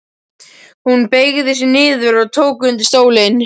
Hún beygði sig niður og tók undir stólinn.